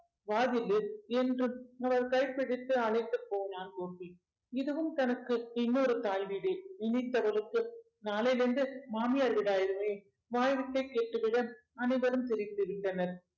வா ஜில்லு என்று அவர் கைப்பிடித்து அழைத்துப் போனான் கோபி இதுவும் தனக்கு இன்னொரு தாய் வீடு இனி அவளுக்கு நாளையில இருந்து மாமியார் வீடாயிடுமே வாய்விட்டே கேட்டுவிட அனைவரும் சிரித்துவிட்டனர்